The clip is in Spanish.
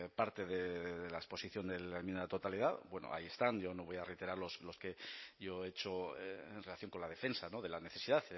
parte de la exposición de la enmienda a la totalidad bueno ahí están yo no voy a reiterar los que yo he hecho en relación con la defensa de la necesidad